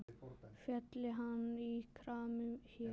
Félli hann í kramið hér?